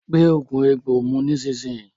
Gbé oògùn egbò mu nísìsiyìí!